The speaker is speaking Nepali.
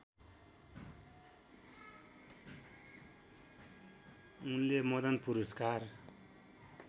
उनले मदन पुरस्कार